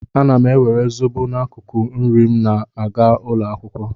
Ana m ewere zobo n'akụkụ nri m na-aga ụlọ akwụkwọ.